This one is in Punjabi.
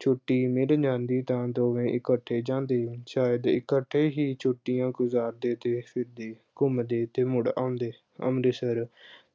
ਛੁੱਟੀ ਮਿਲ ਜਾਂਦੀ ਤਾਂ ਦੋਵੇਂ ਇਕੱਠੇ ਜਾਂਦੇ ਸ਼ਾਇਦ ਇਕੱਠੇ ਹੀ ਛੁੱਟੀਆਂ ਗੁਜ਼ਾਰਦੇ ਤੇ ਸਿੱਧੇ ਘੁੰਮਦੇ ਤੇ ਮੁੜ ਆਉਂਦੇ ਅੰਮ੍ਰਿਤਸਰ,